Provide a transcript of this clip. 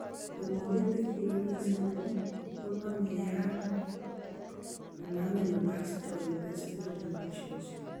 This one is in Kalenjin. Hemolytic uremic syndrome konome yaan kanamin gastrointestinal infections